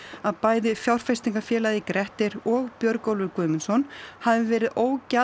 að bæði fjárfestingafélagið Grettir og Björgólfur Guðmundsson hafi verið